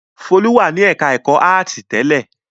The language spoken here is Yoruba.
Folú wà ní ẹ̀ka-ẹ̀kọ́ áátì tẹ́lẹ̀?